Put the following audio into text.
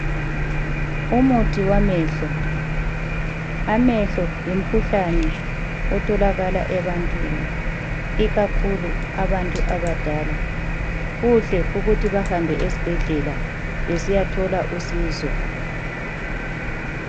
Umuthi wamehlo, amehlo yimkhuhlane otholakala ebantwini ikakhulu ebantu abadala kuhle ukuthi bahambe esibhedlela besiya thola usizo .